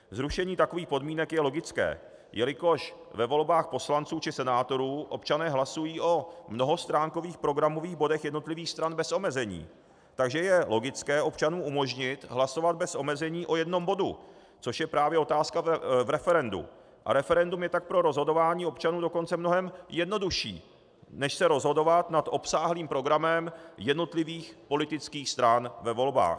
Zrušení takových podmínek je logické, jelikož ve volbách poslanců či senátorů občané hlasují o mnohostránkových programových bodech jednotlivých stran bez omezení, takže je logické občanům umožnit hlasovat bez omezení o jednom bodu, což je právě otázka v referendu a referendum je tak pro rozhodování občanů dokonce mnohem jednodušší než se rozhodovat nad obsáhlým programem jednotlivých politických stran ve volbách.